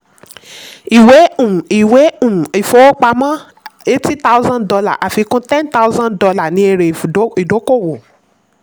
ìwé um ìwé um ìfowópamọ́ eighty thousand dollar àfikún ten thousand dollar ni ère ìdókòwò.